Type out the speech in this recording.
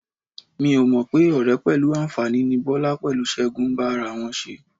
Mi ò mọ̀ pé ọ̀rẹ́ pẹ̀lú àǹfàní ni Bọ́lá pẹ̀lú Ṣẹ́gun ń bá ara wọn ṣe.